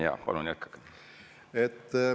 Jaa, palun jätkake!